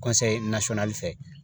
fɛ